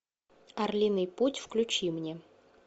орлиный путь включи мне